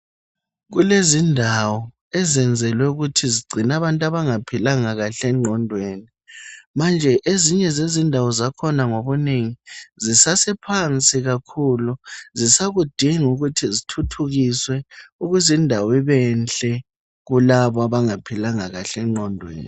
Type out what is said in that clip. Kulezindawo ezenzelwe ukuthi zigcine abantu abangaphilanga kahle enqondweni. Manje ezinye zezindawo zakhona ngobunengi, zisasephansi kakhulu. Zisakudinga ukuthi zithuthukiswe, ukuze indawo ibenhle kulabo abangaphilanga kahle enqondweni.